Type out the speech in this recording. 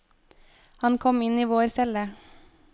Han kom inn i vår celle.